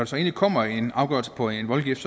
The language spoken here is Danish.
så endelig kommer en afgørelse på en voldgift